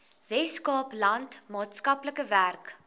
weskaapland maatskaplike werk